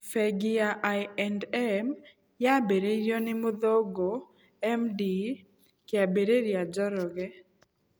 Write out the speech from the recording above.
Bengi ya I&M yambĩrĩirio nĩ mũthũngũ M. D. Kĩambĩrĩria Njoroge.